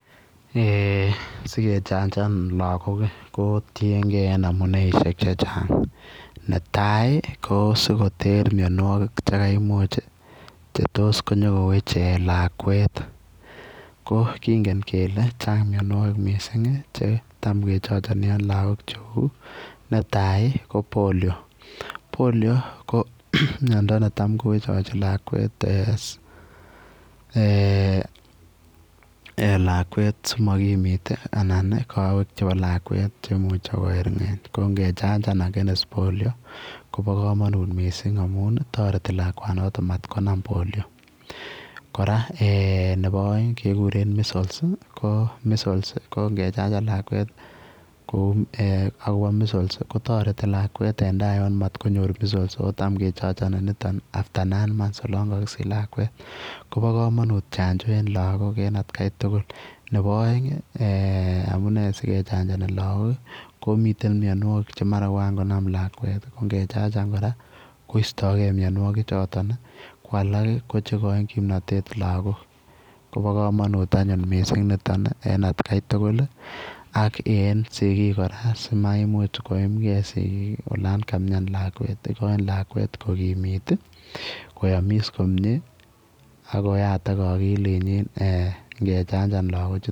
Eeh sikechanjaan lagook ii ko tienkei en amunei iisiek che chaang netai ii sikoteer mianwagik chekaimuuch inyo koteer lakwet ko kongeen kele chaam ko chaang mianwagik che taam kechangenii en lagook netai ii ko [poliomyelitis] [poliomyelitis] ko miando ne chaam ko wechawechii lakwet eeh eeh lakwet simakimmit anan ko kaweek chebo lakwet chemuchei koerngeeny ko ngechanjaan against [poliomyelitis] koba kamanut missing amuun ii taretii lakwaan notoon mat konaam [poliomyelitis] kora eeh nebo aeng ko [measles] [measles] ii ko kechanjaan lakwet agobo [measles] ii kotaretii lakwet en taa Yoon matkonyoor [measles] ako taam kechangenii lakwet [after nine months] olaan kakosiich lakwet kobaa kamanuut chanjoo en lagook en at Kai tugul nebo aeng ii eeh amunei sikechanjaani lagook ii miten mianwagik che mara koan konam lakwet ii ko ingechanjaan kora koistaegei mianwagik chotoon ii ko alaak ii ko cheigochiin kimnatet lagook kobaa kamanuut nitoon missing en at gai tugul ii ak en sigiik kora simamuuch koyiim gei sikiik ii olaan kamian lakwet igoin lakwet ko kimiit ii koyamis ako yataak akilit nyiin ingechanjaan lagook.